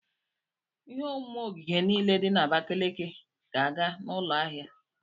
Ihe omume ogige niile dị na Abakaliki ga-aga n'ụlọ ahịa.